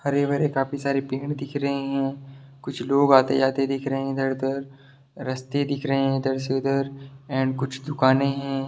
हरे-भरे काफी सारे पेड़ दिख रहे है कुछ लोग आते-जाते दिख रहे इधर-उधर रस्ते दिख रहे है इधर से उधर एंड कुछ दुकाने है।